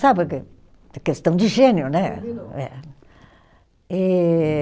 Sabe, que questão de gênio, né? E